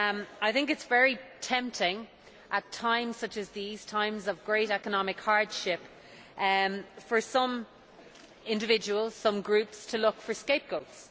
I think it is very tempting, at times such as these times of great economic hardship for some individuals and groups to look for scapegoats.